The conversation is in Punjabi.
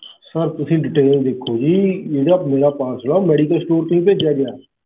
sir ਤੁਸੀਂ detail ਜੀ ਜਿਹੜਾ ਮੇਰਾ parcel ਆ ਉਹ medicalstore ਤੋਂ ਹੀ ਭੇਜਿਆ ਗਿਆ